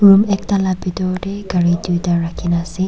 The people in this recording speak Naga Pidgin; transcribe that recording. room ekta la bitor deh gari duita rakina asey.